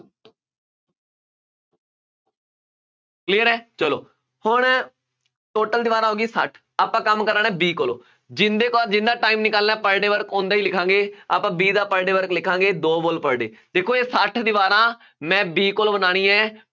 clear ਹੈ, ਚੱਲੋ, ਹੁਣ total ਦੀਵਾਰਾਂ ਹੋ ਗਈਆਂ, ਸੱਠ, ਆਪਾਂ ਕੰਮ ਕਰਾਉਣਾ B ਕੋਲੋਂ, ਜਿਹਦੇ ਪਾਸ ਜਿਹਦਾ time ਨਿਕਾਲਣਾ per day work ਉਹਦਾ ਹੀ ਲਿਖਾਂਗੇ, ਆਪਾਂ B ਦਾ per day work ਲਿਖਾਂਗੇ, ਦੋ wall per day ਦੇਖੋ ਇਹ ਸੱਠ ਦੀਵਾਰਾਂ ਮੈਂ B ਕੋਲੋਂ ਬਣਾਉਣੀਆਂ